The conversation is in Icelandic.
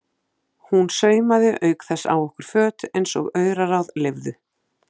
Hún saumaði auk þess á okkur föt eins og auraráð leyfðu.